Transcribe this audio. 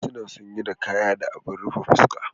Dodo suna sanye da kaya da abin rufe fuska.